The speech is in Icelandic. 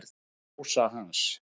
Hann og Rósa hans.